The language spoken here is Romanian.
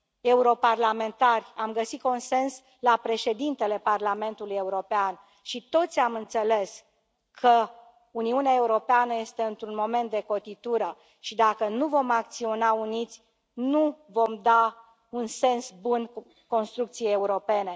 europarlamentari, am găsit consens la Președintele Parlamentului European, și toți am înțeles că Uniunea Europeană este într un moment de cotitură și, dacă nu vom acționa uniți, nu vom da un sens bun construcției europene.